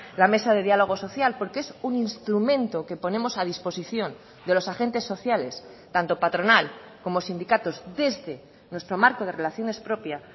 la mesa de diálogo social porque es un instrumento que ponemos a disposición de los agentes sociales tanto patronal como sindicatos desde nuestro marco de relaciones propia